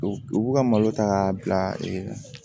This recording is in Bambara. U b'u ka malo ta k'a bila